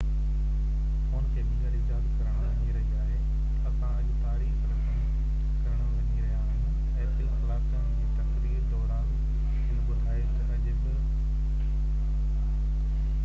2 ڪلاڪن جي تقرير دوران هن ٻڌايو ته اڄ apple فون کي ٻيهر ايجاد ڪرڻ وڃي رهي آهي اسان اڄ تاريخ رقم ڪرڻ وڃي رهيا آهيون